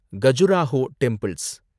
Khajuraho temples